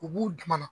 U b'u dama na